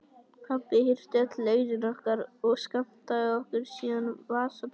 Pabbi hirti öll launin okkar og skammtaði okkur síðan vasapeninga.